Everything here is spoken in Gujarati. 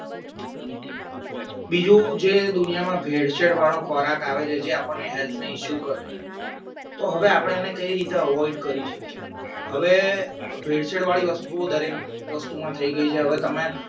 બીજું જે દુનિયામાં ભેળસેળ વાળો ખોરાક આવે છે જે આપણને health ને issue કરે તો હવે આપણે એને કઈ રીતે avoid કરી શકે હવે ભેળસેળ વળી વસ્તુઓ દરેક વસ્તુમાં થઈ ગઈ છે હવે તમે